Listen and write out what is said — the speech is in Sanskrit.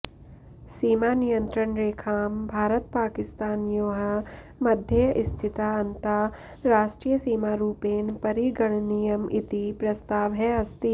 सीमानियन्त्रणरेखां भारतपाकिस्तानयोः मध्ये स्थिता अन्ताराष्ट्रियसीमारूपेण परिगणनीयम् इति प्रस्तावः अस्ति